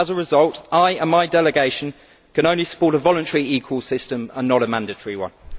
As a result, I and my delegation can only support a voluntary eCall system and not a mandatory one.